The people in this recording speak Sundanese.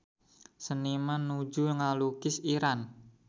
Seniman nuju ngalukis Iran